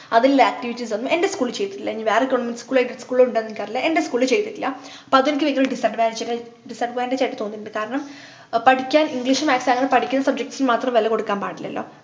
അതില്ലേ activities ഒന്നും എൻ്റെ school ൽ ചെയ്തിട്ടില്ല ഇനി വേറെ ഇനി വേറെ government school aided school ഉം ഉണ്ടോന്നു എനിക്കറീല എൻ്റെ school ൽ ചെയ്തിട്ടില്ല അപ്പൊ അതെനിക്ക് വല്യ ഒരു disadvantaged disadvantage ആയിട്ടു തോന്നീട്ടുണ്ട് കാരണം പഠിക്കാൻ english maths അല്ലാണ്ട് പഠിക്കുന്ന subjects നു മാത്രം വില കൊടുക്കാൻ പാടില്ലല്ലോ